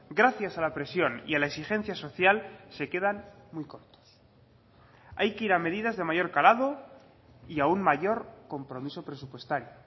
gracias a la presión y a la exigencia social se quedan muy cortos hay que ir a medidas de mayor calado y a un mayor compromiso presupuestario